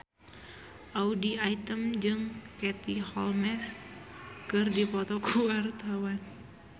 Audy Item jeung Katie Holmes keur dipoto ku wartawan